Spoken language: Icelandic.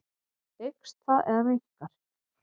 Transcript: Eykst það eða minnkar?